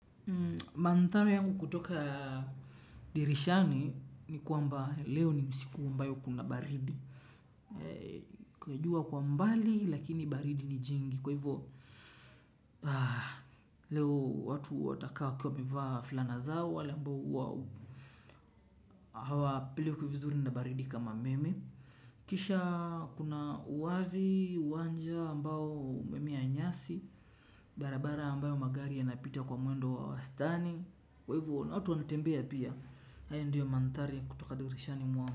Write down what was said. Mandhari yangu kutoka dirishani ni kwamba leo ni usiku ambayo kuna baridi. Kujua kwa mbali lakini baridi ni jingi. Kwa hivyo leo watu watakaa wakiwa wamevaa fulana zao. Wale ambao wawo hawa pelekwi vizuri na baridi kama mimi. Kisha kuna uazi uwanja ambao umemea nyasi. Barabara ambayo magari yanapita kwa mwendo wa stani. Kwa hivyo na watu wanatembea pia ayo ndiyo mandhari ya kutoka dirishani mwangu.